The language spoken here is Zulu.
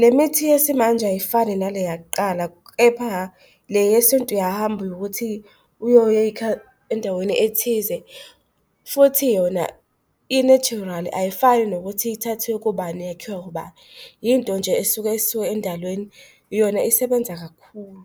Lemithi yesimanje ayifani nale yakuqala, kepha le yesintu uyahamba ukuthi uyoyikha endaweni ethize, futhi yona i-natural. Ayifani nokuthi ithathwe kubani, yakhiwa ubani, yinto nje esuke isuke endalweni, yona isebenza kakhulu.